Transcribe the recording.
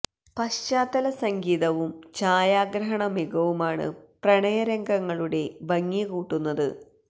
പാശ്ചാത്തല സംഗീതവും ഛായാഗ്രഹണ മികവുമാണ് പ്രണയ രംഗങ്ങളുടെ ഭംഗി കൂട്ടുന്നത്